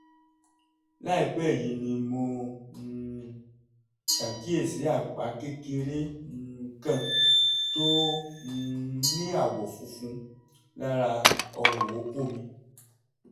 láìpẹ́ yìí ni mo um ṣàkíyèsí àpá kékeré um kan tó um ní àwọ̀ funfun lára ọrùn okó mi